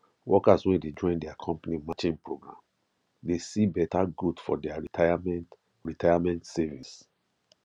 workers wey de join their company matching program de see better growth for their retirement retirement savings